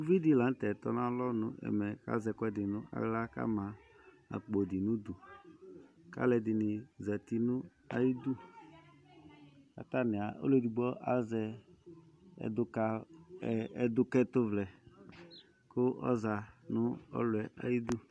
Uvi dɩ la nʋ tɛ tɔnalɔ nʋ ɛmɛ kʋ azɛ ɛkʋɛdɩ nʋ aɣla kʋ ama akpo dɩ nʋ udu kʋ alʋɛdɩnɩ zati nʋ ayidu kʋ atanɩ az ɔlʋ edigbo azɛ ɛdʋka ɛ ɛdʋkɛtʋvlɛ kʋ ɔza nʋ ɔlʋ yɛ ayidu.